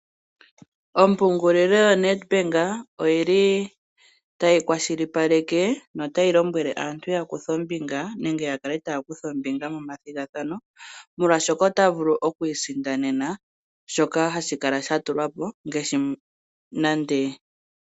Ompungulilo yoNedbank oyili tayi kwashilipaleka na otayi lombwele aantu yakuthe ombinga nenge yakale taya kutha ombinga momathigathano, molwashoka otaya vulu okwiisindanena shoka hashi kala shatulwa po.